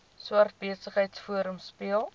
swart besigheidsforum speel